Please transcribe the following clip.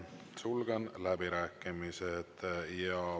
Sulgen läbirääkimised.